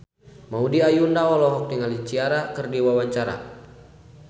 Maudy Ayunda olohok ningali Ciara keur diwawancara